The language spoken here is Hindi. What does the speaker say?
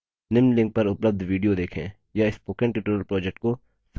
निम्न link पर उपलब्ध video देखें